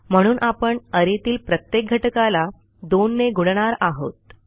म्हणून आपण arrayतील प्रत्येक घटकाला 2ने गुणणार आहोत